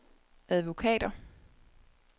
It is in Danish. advokater